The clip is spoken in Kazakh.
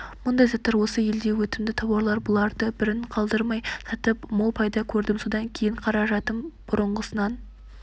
мұндай заттар осы елде өтімді тауарлар бұларды бірін қалдырмай сатып мол пайда көрдім содан кейін қаражатым бұрынғысынан